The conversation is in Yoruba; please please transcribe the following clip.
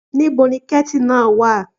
Níbo ni kẹ́tì náà wà?